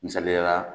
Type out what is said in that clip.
Misaliyala